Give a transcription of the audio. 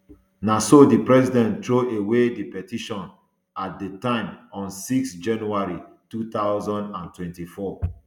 na so di president throway di petition at di time on six january two thousand and twenty-four